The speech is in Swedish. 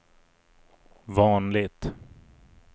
vanligt